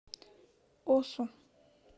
осу